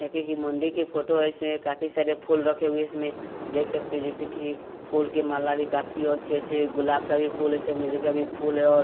मंडी की फोटो है इसमें काफी सारे फूल रखे हुए इसमें देख सकते हैं जैसे कि फूल के माला भी काफी अच्छे अच्छे गुलाब का भी फूल है चमेली का भी फूल है और --